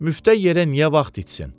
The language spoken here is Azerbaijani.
Müftə yerə niyə vaxt itsin?